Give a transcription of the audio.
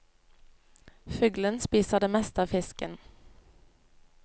Fuglen spiser det meste av fisken.